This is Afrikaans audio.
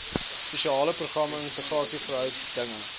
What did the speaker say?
spesiale programme interregeringsverhoudinge